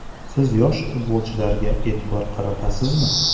Siz yosh futbolchilarga e’tibor qaratasizmi?